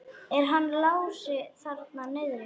Er hann Lási þarna niðri?